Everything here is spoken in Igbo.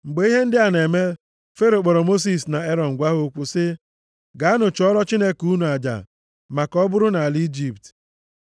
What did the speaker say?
Mgbe ihe ndị a na-eme, Fero kpọrọ Mosis na Erọn gwa ha okwu sị, “Gaanụ chụọrọ Chineke unu aja, ma ka ọ bụrụ nʼala Ijipt.”